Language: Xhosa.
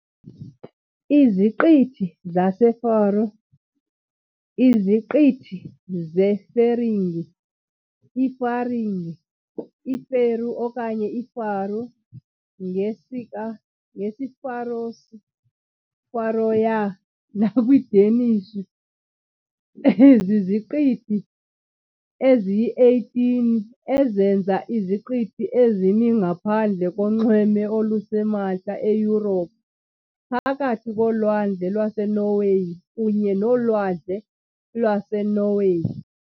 IZiqithi zaseFaro, iZiqithi zeFeringie, iFaringie, iFeroe okanye iFaroe, ngesiFaroese- "Føroyar" nakwiDanish, ziziqithi eziyi-18 ezenza iziqithi ezimi ngaphandle konxweme olusemantla eYurophu, phakathi koLwandle lwaseNorway kunye noLwandle lwaseNorway.